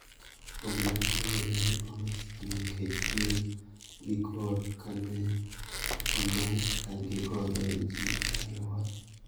Obila kod jolweny omi siem nikech tiyo gi kor ka ne one gi ka gigoyo ji e alwora.